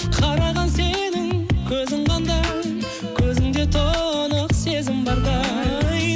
қараған сенің көзің қандай көзіңде тұнық сезім бардай